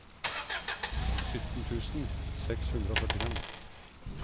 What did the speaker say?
sytten tusen seks hundre og førtifem